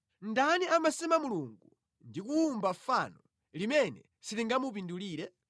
Ndani amasema mulungu ndi kuwumba fano, limene silingamupindulire?